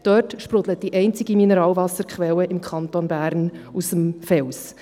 Dort sprudelt die einzige Mineralwasserquelle im Kanton Bern aus dem Fels.